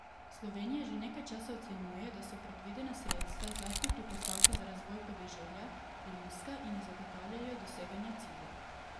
Slovenija že nekaj časa ocenjuje, da so predvidena sredstva, zlasti pri postavki za razvoj podeželja, prenizka in ne zagotavljajo doseganja ciljev.